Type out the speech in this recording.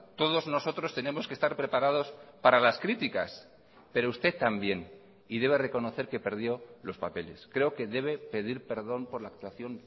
todos nosotros tenemos que estar preparados para las críticas pero usted también y debe reconocer que perdió los papeles creo que debe pedir perdón por la actuación